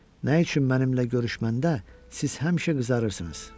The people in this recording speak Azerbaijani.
Nə üçün mənimlə görüşməndə siz həmişə qızarırsınız?